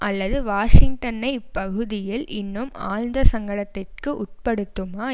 அல்லது வாஷிங்டனை இப்பகுதியில் இன்னும் ஆழ்ந்த சங்கடத்திற்கு உட்படுத்துமா